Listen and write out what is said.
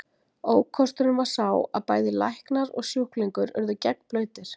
Ókosturinn var sá að bæði læknar og sjúklingur urðu gegnblautir.